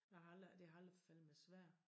Jeg har aldrig det har aldrig faldet mig svær